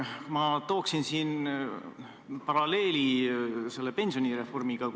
Ma tooksin siin paralleeli pensionireformiga.